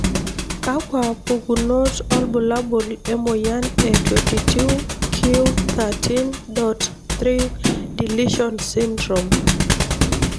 kakwa pukunot olbulabul emoyian e 22q13.3 deletion sydrome?